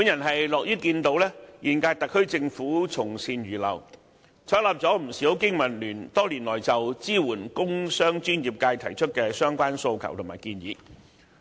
我樂看現屆特區政府從善如流，採納了不少香港經濟民生聯盟多年來就支援工商專業界提出的相關訴求和建議。